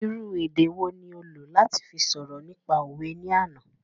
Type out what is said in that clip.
Irú èdè wo ni ó lò láti fi sọ̀rọ̀ nípa òwe ní àná